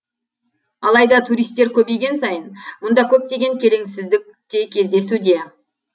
алайда туристер көбейген сайын мұнда көптеген келеңсіздік те кездесуде